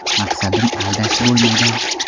Maqsadim aldash bo‘lmagan.